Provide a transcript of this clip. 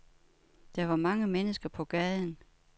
Der var mange mennesker på gaden.